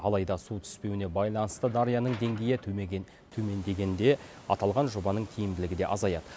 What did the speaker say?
алайда су түспеуіне байланысты дарияның деңгейі төмендегенде аталған жобаның тиімділігі де азаяды